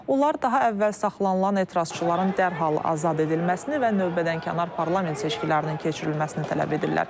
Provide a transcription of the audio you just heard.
Onlar daha əvvəl saxlanılan etirazçıların dərhal azad edilməsini və növbədənkənar parlament seçkilərinin keçirilməsini tələb edirlər.